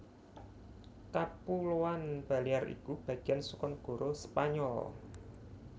Kapuloan Balear iku bagéan saka negara Spanyol